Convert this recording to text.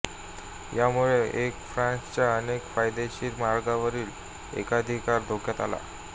यामुळे एर फ्रांसच्या अनेक फायदेशीर मार्गांवरील एकाधिकार धोक्यात आला